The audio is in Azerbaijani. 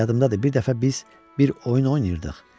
Yadındadır, bir dəfə biz bir oyun oynayırdıq.